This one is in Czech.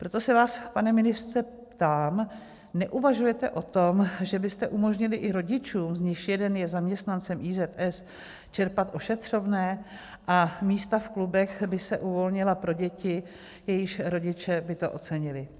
Proto se vás, pane ministře, ptám, neuvažujete o tom, že byste umožnili i rodičům, z nichž jeden je zaměstnancem IZS, čerpat ošetřovné, a místa v klubech by se uvolnila pro děti, jejichž rodiče by to ocenili?